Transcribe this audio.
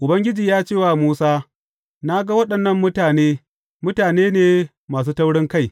Ubangiji ya ce wa Musa, Na ga waɗannan mutane, mutane ne masu taurinkai.